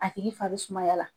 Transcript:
A tigi fan bɛ sumaya la.